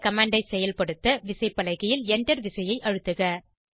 அந்த கமாண்ட் ஐ செயற்படுத்த விசைப்பலகையில் Enterவிசையை அழுத்துக